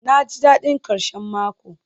naji dadin karshen mako